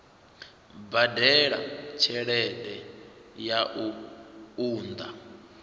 badela tshelede ya u unḓa